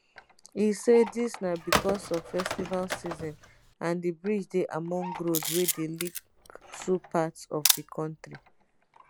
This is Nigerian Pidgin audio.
e say dis na becos of festival season and di bridge dey among road wey dey link two parts of di kontri